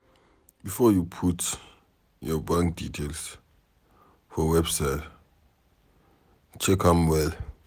Before you put your bank details for website, check am well.